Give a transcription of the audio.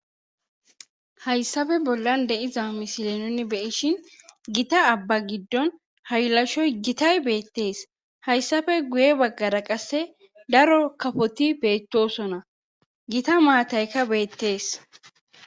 Hayssafe bollan deiza misile noni beishin gita abba giddon haylashoy gitay beettees hayssafe guye baggara qasse daro kafoti beettosona gita maatayka beettees.